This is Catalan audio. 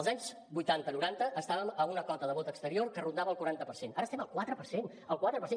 els anys vuitanta noranta estàvem a una cota de vot exterior que rondava el quaranta per cent ara estem al quatre per cent al quatre per cent